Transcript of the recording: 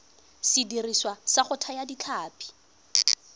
sediriswa sa go thaya ditlhapi